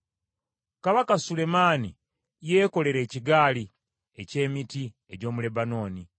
Kabaka Sulemaani yeekolera ekigaali eky’emiti egy’omu Lebanooni.